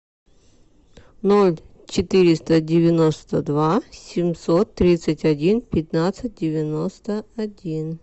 ноль четыреста девяносто два семьсот тридцать один пятнадцать девяносто один